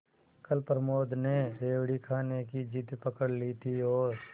कल प्रमोद ने रेवड़ी खाने की जिद पकड ली थी और